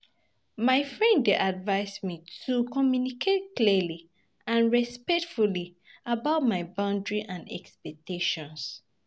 My friend dey advise me to communicate clearly and respectfully about my boundaries and expectations.